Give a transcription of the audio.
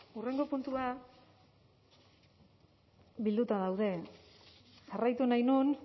hurrengo puntua bilduta daude jarraitu nahi nuen